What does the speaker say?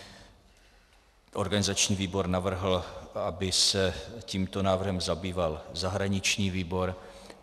Organizační výbor navrhl, aby se tímto návrhem zabýval zahraniční výbor.